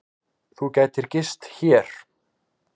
Þú gætir gist hér.